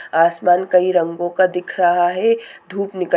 आसमान कई रंगो का दिख रहा है। धुप निकल --